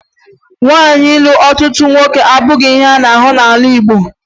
Nwaanyị ịlụ ọtụtụ nwoke abụghị ihe a na-ahụ n'ala Igbo